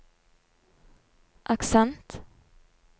aksent